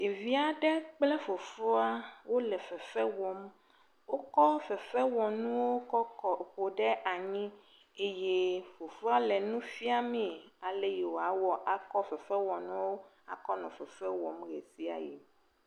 Ɖevi aɖe kple fofoa wole fefe wɔm. Wokɔ fefewɔnu kɔ kɔ, ƒo ɖe anyi eye fofoa le nu fiamee, ale yi wòawɔ akɔ fefewɔnuwo akɔ nɔ fefe wɔm ʋe sia yi.